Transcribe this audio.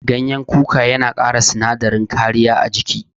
Gyanyen kuka yana kara sinadarin kariya a jiki.